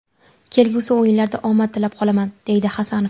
Kelgusi o‘yinlarda omad tilab qolaman”, deydi Hasanov.